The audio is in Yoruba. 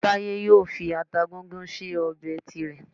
Táyé yóò fi ata gúngún sí ọbẹ̀ tirẹ̀